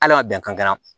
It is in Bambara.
Hal'a bɛnkan